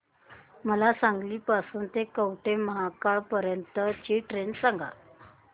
मला सांगली पासून तर कवठेमहांकाळ पर्यंत ची ट्रेन सांगा